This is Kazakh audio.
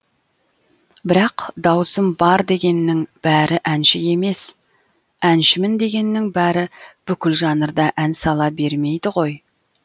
бірақ дауысым бар дегеннің бәрі әнші емес әншімін дегеннің бәрі бүкіл жанрда ән сала бермейді ғой